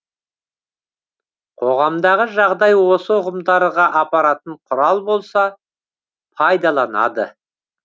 қоғамдағы жағдай осы ұғымдарға апаратын құрал болса пайдаланады